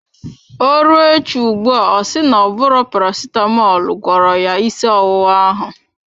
Ọ rụọ echi ugbua ọ si na-ọbụro Paracetamọl gwọrọ ya ịsị ọwụwa ahụ.